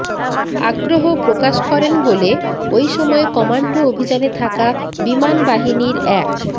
আগ্রহ প্রকাশ করেন বলে ওই সময় কমান্ডো অভিযানে থাকা বিমানবাহিনীর এক